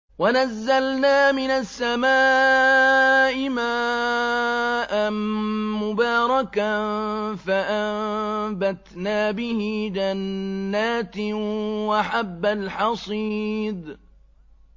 وَنَزَّلْنَا مِنَ السَّمَاءِ مَاءً مُّبَارَكًا فَأَنبَتْنَا بِهِ جَنَّاتٍ وَحَبَّ الْحَصِيدِ